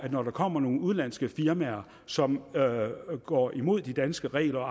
når der kommer nogle udenlandske firmaer som går imod de danske regler og